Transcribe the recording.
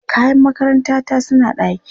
Kayan makarantata suna ɗaki.